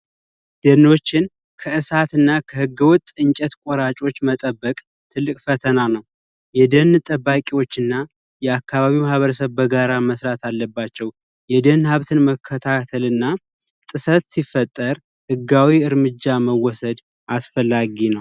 የተፈጥሮ ደኖችን ከእሳትና ከህገወጥ ቆራጮች መጠበቅ ትልቅ ፈተና ነው የደን ጠባቂዎች እና የአካባቢው ማህበረሰብ በጋራ በመሆን መስራት አለባቸው የደን ሀብትን መከታተል እና ጥሳት ሲፈጠር ህጋዊ እርምጃ መወሰድ አስፈላጊ ነው።